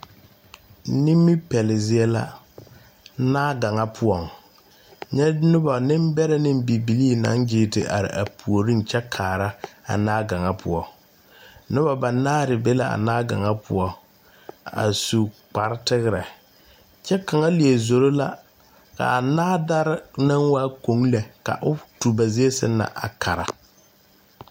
Nimi pɛle zie la naa kaŋa poɔŋ nyɛ nobɔ neŋ bɛrɛ ne bibilii mine naŋ gyiire te are a puoriŋ kyɛ kaara a naa gaŋa poɔ nobɔ banaare be la a naa gaŋa poɔ a su kpare tigrɛ kyɛ kaŋa lie zoro la kaa naa dare naŋ waa koŋe ka o tu ba zie sɛŋ na a kara.